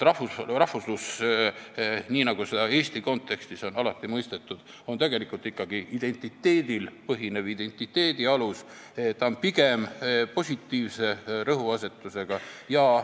Rahvuslus, nii nagu seda Eesti kontekstis on alati mõistetud, on tegelikult ikkagi identiteedil põhinev, identiteedi alus, ta on pigem positiivse rõhuasetusega.